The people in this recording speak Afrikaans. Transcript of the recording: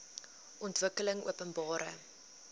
ontwikkelingopenbare